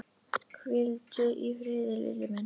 Hvíldu í friði, Lilli minn.